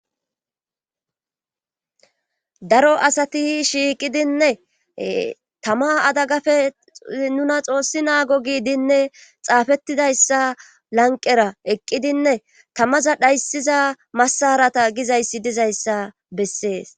Daro asati shiiqidiñne tama tama adagpe nuna xoossi naagi giidine xaafettidayssa lanqqera eqqidzinne tamaza dhayssiza massarata gizayssi dizayssa bessees